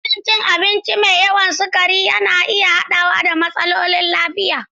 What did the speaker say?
Rashin rashin cin abinci mai yawan sukari na iya haɗawa da matsalolin lafiya.